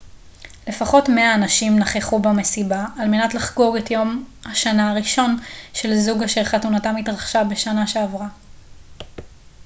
לפחות 100 אנשים נכחו במסיבה על מנת לחגוג את יום השנה הראשון של זוג אשר חתונתם התרחשה בשנה שעברה